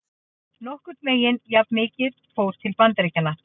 Nokkurn veginn jafnmikið fór til Bandaríkjanna.